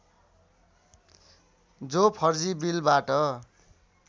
जो फर्जी बिलबाट